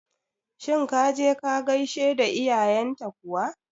Shin ka je ka gaishe da iyayen ta kuwa?